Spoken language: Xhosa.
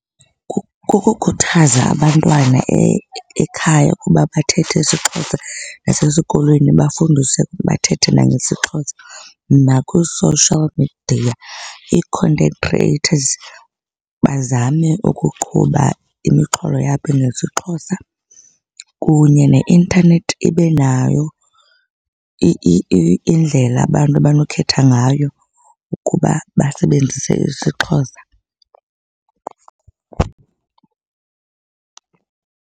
Kukukhuthaza abantwana ekhaya ukuba bathethe isiXhosa nasesikolweni bafundiswe bathethe nangesiXhosa. Nakwii-social media, ii-content creators bazame ukuqhuba imixholo yabo ngesiXhosa, kunye neintanethi ibe nayo indlela abantu abanokhetha ngayo ukuba basebenzise isiXhosa.